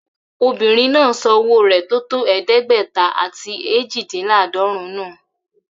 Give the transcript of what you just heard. Obìnrin náà sọ owo rẹ tótó eedegbeta ati ejidinladorun nu.